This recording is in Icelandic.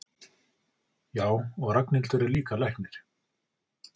Já, og Ragnhildur er líka læknir.